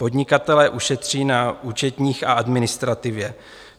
Podnikatelé ušetří na účetních a administrativě.